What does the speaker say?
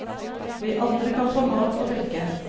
Vi andre kan få mat og drikke.